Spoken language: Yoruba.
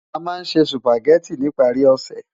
Amá nsé Sùpágèti nipári òsè